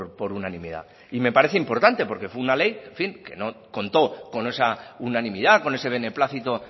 por unanimidad y me parece importante porque fue una ley que contó con esa unanimidad con ese beneplácito